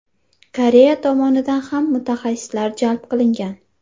Koreya tomonidan ham mutaxassislar jalb qilingan.